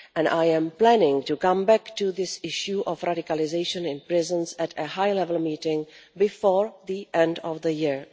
I am planning to come back to this issue of radicalisation in prisons at a high level meeting before the end of the year.